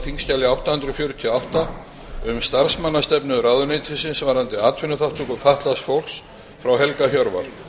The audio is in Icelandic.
þingskjali átta hundruð fjörutíu og átta um starfsmannastefnu ráðuneytis varðandi atvinnuþátttöku fatlaðs fólks frá helga hjörvar